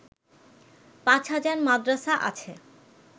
পাঁচ হাজার মাদ্রাসা আছে